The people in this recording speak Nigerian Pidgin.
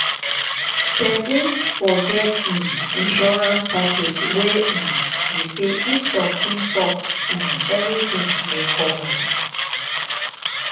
person fot get um insurance package wey um be sey if something sup um everything dey covered